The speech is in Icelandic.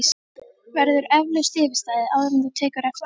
Verður eflaust yfirstaðið, áður en þú tekur eftir?!